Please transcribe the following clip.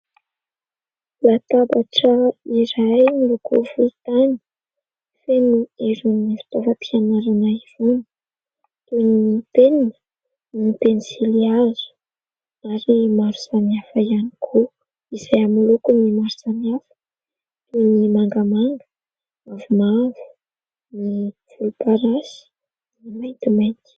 Latabatra iray miloko volontany, feno irony fitaovam-pianarana irony, toy ny : penina, ny pensily hazo, ary maro samihafa ihany koa... ; izay amin'ny lokony maro samihafa, toy ny : mangamanga, mavomavo, ny volomparasy, ny maintimainty.